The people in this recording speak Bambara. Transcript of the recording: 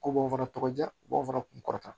Ko b'o fana tɔgɔ ja ko b'o fana kun kɔrɔta